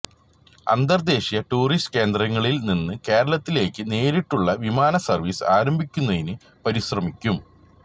അന്തര്ദേശീയ tourist കേന്ദ്രങ്ങളില്നിന്ന് കേരളത്തിലേക്ക് നേരിട്ടുള്ള വിമാന സര്വ്വീസ് ആരംഭിക്കുന്നതിന് പരിശ്രമിക്കും